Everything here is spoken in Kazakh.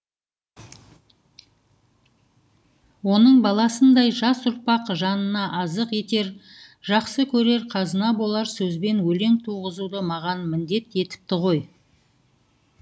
оның баласындай жас ұрпақ жанына азық етер жақсы көрер қазына болар сөзбен өлең туғызуды маған міндет етіпті ғой